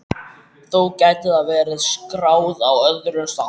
Þó gæti það verið skráð á öðrum stað.